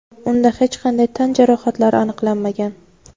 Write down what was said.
unda hech qanday tan jarohatlari aniqlanmagan.